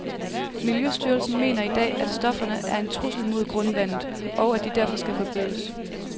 Miljøstyrelsen mener i dag, at stofferne er en trussel mod grundvandet, og at de derfor skal forbydes.